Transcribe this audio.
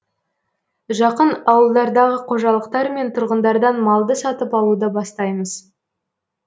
жақын ауылдардағы қожалықтар мен тұрғындардан малды сатып алуды бастаймыз